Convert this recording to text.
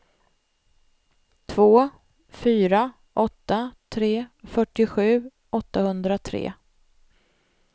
två fyra åtta tre fyrtiosju åttahundratre